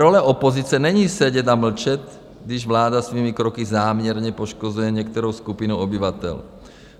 Role opozice není sedět a mlčet, když vláda svými kroky záměrně poškozuje některou skupinu obyvatel.